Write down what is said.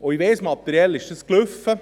Ich weiss: Materiell ist das entschieden.